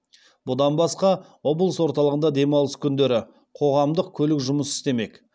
бұдан басқа облыс орталығында демалыс күндері қоғамдық көлік жұмыс істемек